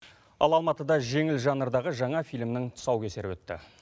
ал алматыда жеңіл жанрдағы жаңа фильмнің тұсаукесері өтті